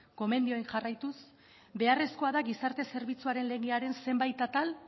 gomendioei jarraituz beharrezkoa da gizarte zerbitzuaren legearen zenbait atal